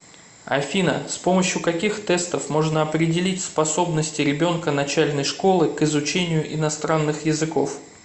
афина с помощью каких тестов можно определить способности ребенка начальной школы к изучению иностранных языков